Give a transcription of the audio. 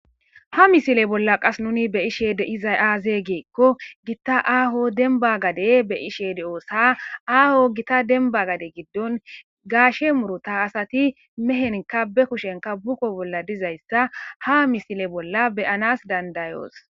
ha misile bolla qas nuni be ishe de iza-aaze geekko gitta aaho denba gade be ishede oossa aaho gita denba gade giddon gaashe murota asati mehenka be kushenka buqo bolla dizayssa ha misile bolla beyanas dandayoos